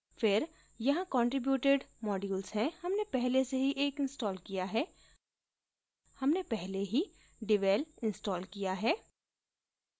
फिर यहाँ contributed modules हैं हमने पहले से ही एक installed किया है हमने पहले ही devel installed किया है